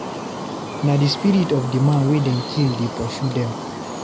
Na di spirit of di man wey dem kill dey pursue dem.